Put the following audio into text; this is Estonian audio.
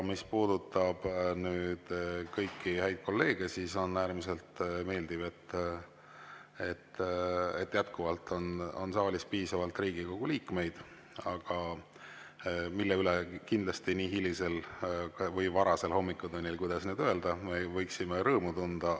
Mis puudutab kõiki häid kolleege, siis on äärmiselt meeldiv, et jätkuvalt on saalis piisavalt Riigikogu liikmeid, mille üle kindlasti nii hilisel või varasel hommikutunnil, kuidas nüüd öelda, võiksime rõõmu tunda.